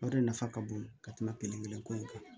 O de nafa ka bon ka tɛmɛ kelen kelen ko in kan